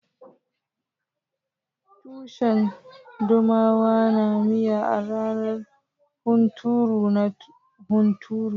Tushen dumama na miya a ranar hunturu na hunturu.